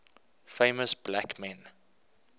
famous black men